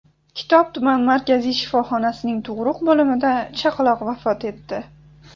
Kitob tuman markaziy shifoxonasining tug‘uruq bo‘limida chaqaloq vafot etdi.